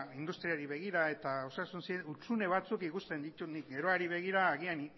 industriari begira eta osasun hutsune batzuk ikusten ditut nik geroari begira agian